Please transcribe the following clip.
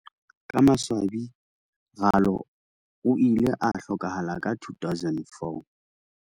Ka maswabi Ralo o ile a hlokahala ka 2004.